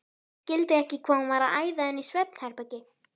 Skildi ekki hvað hún var að æða inn í svefnherbergi.